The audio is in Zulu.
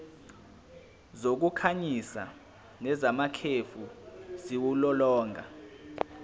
zokukhanyisa nezamakhefu ziwulolonga